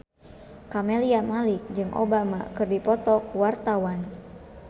Camelia Malik jeung Obama keur dipoto ku wartawan